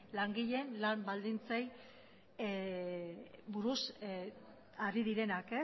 langileen lan baldintzei buruz ari direnak